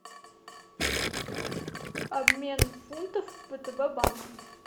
обмен фунтов в втб банке